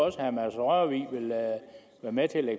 at herre mads rørvig vil være med til at